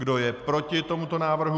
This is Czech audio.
Kdo je proti tomuto návrhu?